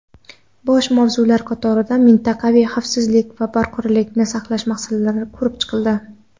Boshqa mavzular qatorida mintaqaviy xavfsizlik va barqarorlikni saqlash masalalari ko‘rib chiqildi.